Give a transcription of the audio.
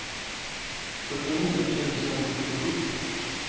sjuttionio tusen sjuttiosju